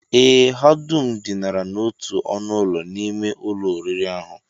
Ee, ha dum dinara n'otu ọnụụlọ n'ime ụlọ oriri ahụ